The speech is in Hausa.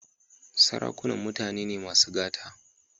Sarakunan mutane ne masu gata.